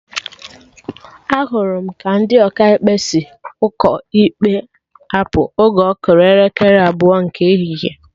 Ahụrụ m ka ndị Ọkaikpe si ụkọ ikpe apụ oge ọ kụrụ elekere abụọ nke ehihie